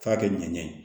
K'a kɛ ɲɛɲɛ ye